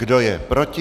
Kdo je proti?